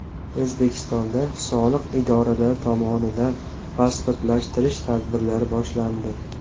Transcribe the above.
O‘zbekistonda soliq idoralari tomonidan pasportlashtirish tadbirlari boshlandi.